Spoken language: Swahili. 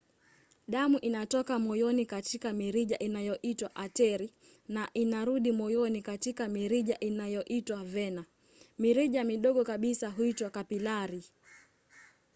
damu inatoka moyoni katika mirija inayoitwa ateri na inarudi moyoni katika mirija inayoitwa vena. mirija midogo kabisa huitwa kapilari